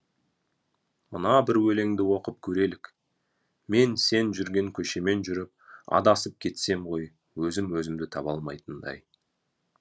мына бір өлеңді оқып көрелік мен сен жүрген көшемен жүріп адасып кетсем ғой өзім өзімді таба алмайтындай